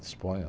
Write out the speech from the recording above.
Disponha.